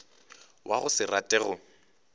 wa go se rate go